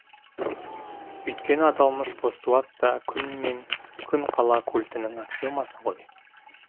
өйткені аталмыш постулат та күн мен күн қала культінің аксиомасы ғой